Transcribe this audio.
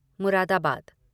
Moradabad